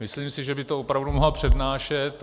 Myslím si, že by to opravdu mohla přednášet.